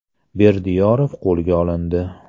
Berdiyorov qo‘lga olindi.